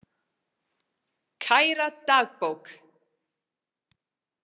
Kæra dagbók!